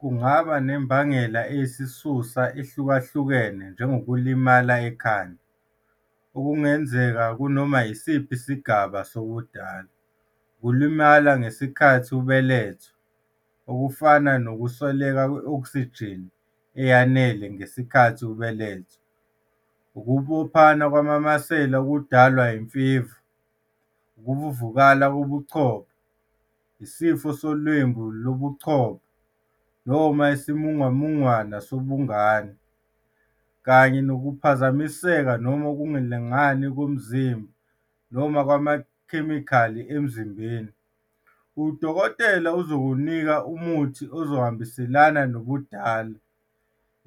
Kungaba nembangela eyisisusa ehlukahlukene njengokulimala ekhanda, okungenzeka kunoma yisiphi isigaba sobudala, ukulimala ngesikhathi ubelethwa, okufana nokuswelakala kwe-oksijini eyanele ngenkathi ubelethwa, ukubophana kwamamasela okudalwa imfiva, ukuvuvukala kobuchopho, isifo solwembu lobuchopho noma isimungumungwana sobungane, kanye nokuphazamiseka noma ukungalingani komzimba noma kwamakhemikhali emzimbeni. Udokotela uzokunika umuthi ozohambiselana nobudala,